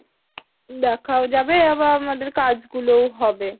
দেখা ও যাবে আবার আমাদের কাজ গুলো ও হবে।